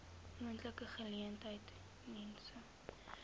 moontlike geleentheid mense